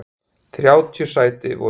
Þrjátíu sæti voru í boði.